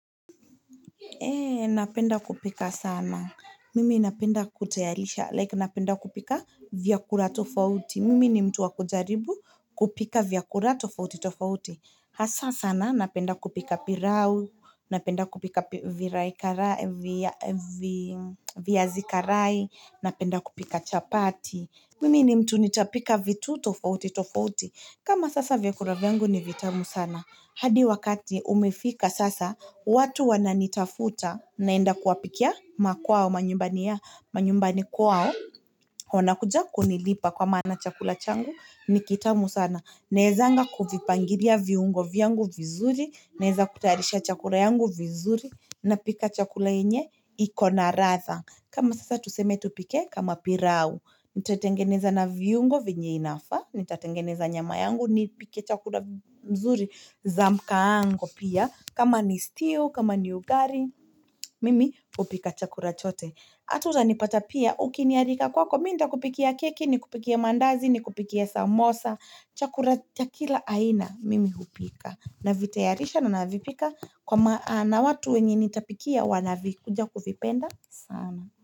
Ee napenda kupika sana mimi napenda kutayalisha like napenda kupika vyakula tofauti mimi ni mtu wakujaribu kupika vyakula tofauti tofauti hasa sana napenda kupika pilau napenda kupika viraikarae viazikarai napenda kupika chapati Mimi ni mtu nitapika vitu tofauti tofauti. Kama sasa vyakula vyangu ni vitamu sana. Hadi wakati umefika sasa, watu wana nitafuta naenda kuwapikia makwao, manyumbani ya, manyumbani kwao. Wanakuja kunilipa kwa maana chakula changu, nikitamu sana. Naezanga kuvipangilia viungo vyangu vizuri, naeza kutarisha chakula yangu vizuri, na pika chakula inye, ikonaradha. Kama sasa tuseme tupike, kama pilau. Nitatengeneza na viungo vinyeinafa Nitatengeneza nyama yangu Nipike chakula mzuri Zamkaango pia kama ni steel, kama ni ugari Mimi kupika chakula chote Ata za nipata pia Ukiniarika kwako Mimi nitakupikia keki, ni kupikia mandazi, ni kupikia samosa chakula chakila aina Mimi kupika Navitayarisha na navipika na watu wenye nitapikia Wanavikuja kuvipenda sana.